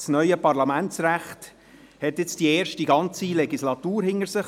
Das neue Parlamentsrecht hat nun eine erste ganze Legislatur hinter sich.